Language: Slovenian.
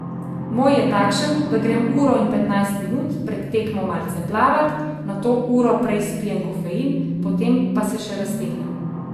Moj je takšen, da grem uro in petnajst minut pred tekmo malce plavat, nato uro prej spijem kofein, potem pa se še raztegnem.